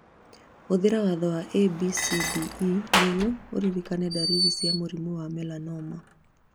Hũthĩra watho wa ABCDE nĩguo ũrĩrĩkane darĩrĩ cia mũrimũ wa melanoma